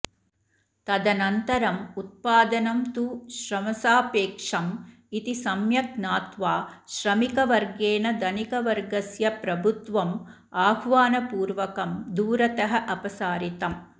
तदनन्तरम् उत्पादनं तु श्रमसापेक्षम् इति सम्यक् ज्ञात्वा श्रमिकवर्गेण धनिकवर्गस्य प्रभुत्वम् आह्वानपूर्वकं दूरतः अपसारितम्